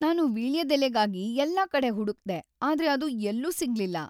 ನಾನು ವೀಳ್ಯದೆಲೆಗಾಗಿ ಎಲ್ಲಾ ಕಡೆ ಹುಡುಕ್ದೆ‌, ಆದ್ರೆ ಅದು ಎಲ್ಲೂ ಸಿಗ್ಲಿಲ್ಲ.